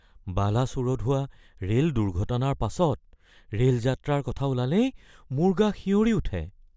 বালাছোৰত হোৱা ৰেল দুৰ্ঘটনাৰ পাছত ৰেল যাত্ৰাৰ কথা ওলালেই মোৰ গা শিয়ৰি উঠে।